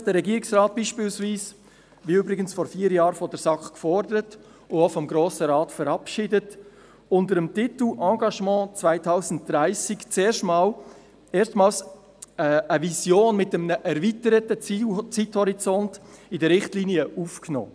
So hat der Regierungsrat beispielsweise – wie übrigens vor vier Jahren von der SAK gefordert und auch vom Grossen Rat verabschiedet – unter dem Titel «Engagement 2030» erstmals eine Vision mit einem erweiterten Zeithorizont in die Richtlinien aufgenommen.